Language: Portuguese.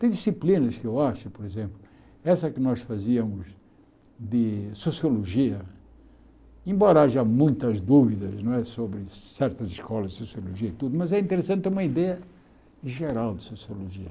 Tem disciplinas que eu acho, por exemplo, essa que nós fazíamos de sociologia, embora haja muitas dúvidas não é sobre certas escolas de sociologia e tudo, mas é interessante ter uma ideia geral de sociologia.